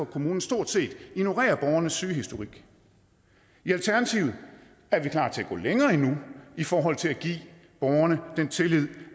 kommunen stort set ignorerer borgernes sygehistorik i alternativet er vi klar til at gå længere endnu i forhold til at give borgerne den tillid